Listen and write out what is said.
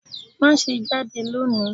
Má ṣé jade lọ ní!